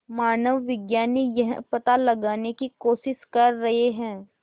मानवविज्ञानी यह पता लगाने की कोशिश कर रहे हैं